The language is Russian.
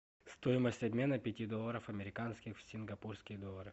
стоимость обмена пяти долларов американских в сингапурские доллары